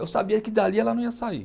Eu sabia que dali ela não ia sair.